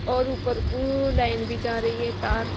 और ऊपर को लाइन भी जा रही है तार--